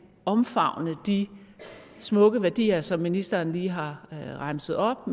omfavne de smukke værdier som ministeren lige har remset op